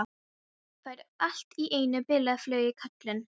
Fær allt í einu bilaða flugu í kollinn.